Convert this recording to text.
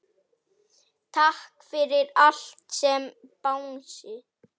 Takk fyrir allt, elsku Bangsi.